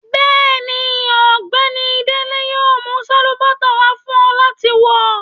Bẹ́ẹ̀ni, Ọgbẹni Dele yóò mú salubàtà wà fún ọ láti wọ.